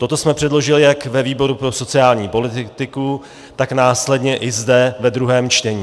Toto jsme předložili jak ve výboru pro sociální politiku, tak následně i zde ve druhém čtení.